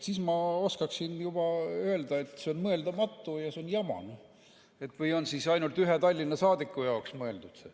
Siis ma oskaksin juba öelda, et see on mõeldamatu ja see on jama või on ainult ühe Tallinna saadiku jaoks mõeldud.